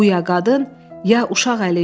Bu ya qadın, ya uşaq əli idi.